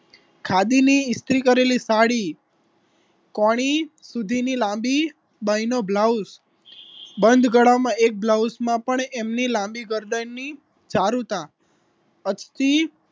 ખાદીની ઈસ્ત્રી કરેલી સાડી કોણી સુધીની લાંબી બાય નો બ્લાઉઝ બંધ ગળા માં એક બ્લાઉઝમાં પણ એમની લાંબી ગરદનની ચારુતા અતી